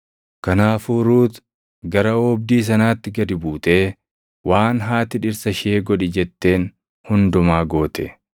Kanaafuu Ruut gara oobdii sanaatti gad buutee waan haati dhirsa ishee godhi jetteen hundumaa goote.